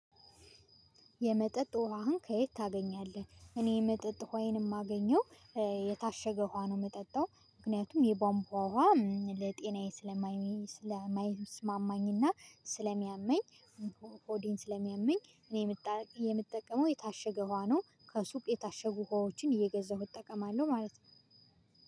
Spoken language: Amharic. የመጠጥ ውሃህን ከየት ታገኛለህ? እኔ የመጠጥ ውሃዬን የማገኘው የታሸገ ውሃ ነው የምጠጣው። ምክንያቱም የቦምቧ ውሃ ለጤናዬ ስለማይስማማኝና ስለሚያመኝ። ኦዲን ስለሚያመኝ እኔ የምጠቀመው የታሸገ ውሃ ነው። ከሱቅ የታሸጉ ሀዋዎችን እየገዛሁ እጠቀማለሁ ማለት ነው።